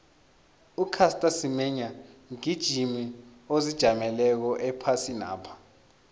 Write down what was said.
ucaster semenya mgijimi ozijameleko ephasinapha